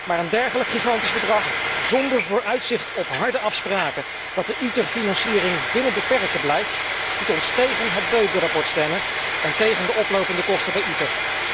Maar een dergelijk gigantisch bedrag, zonder vooruitzicht op harde afspraken dat de ITER financiering binnen de perken blijft, doet ons tegen het verslag Böge stemmen en tegen de oplopende kosten bij ITER.